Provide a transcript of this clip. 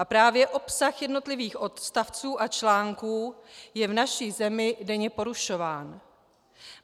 A právě obsah jednotlivých odstavců a článků je v naší zemi denně porušován.